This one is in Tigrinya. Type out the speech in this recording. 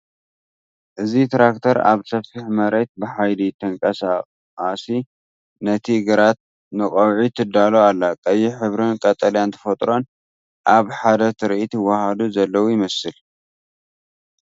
እዚ ትራክተር ኣብ ሰፊሕ መሬት ብሓይሊ ተንቀሳቒሳ ነቲ ግራት ንቐውዒ ትዳሎ ኣላ። ቀይሕ ሕብርን ቀጠልያ ተፈጥሮን ኣብ ሓደ ትርኢት ይወሃሃዱ ዘለው ይመስል።